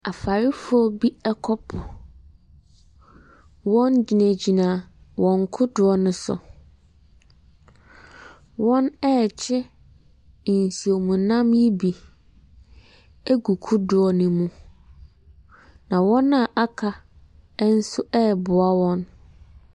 Farefoɔ bi kɔ po, wɔgyinagyina wɔn kodoɔ no so. Wɔrekye nsuom nam no bi agu kodoɔ no mu. Na wɔn a aka nso reboa wɔn.